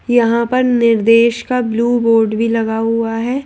यहां पर निर्देश का ब्लू बोर्ड भी लगा हुआ है।